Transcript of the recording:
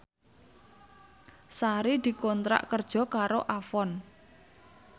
Sari dikontrak kerja karo Avon